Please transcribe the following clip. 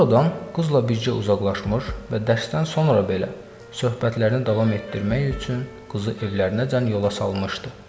Oradan qızla bircə uzaqlaşmış və dərsdən sonra belə söhbətlərini davam etdirmək üçün qızı evlərəcən yola salmışdı.